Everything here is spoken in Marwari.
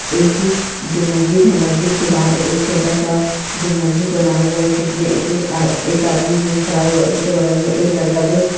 एक जो मस्जिद है मस्जिद के बाहर एक छोटा सा जो मस्जिद बना हुआ है जिसमे कुछ एक आदमी खड़ा हुआ है उसके बगल मे एक लड़का जो --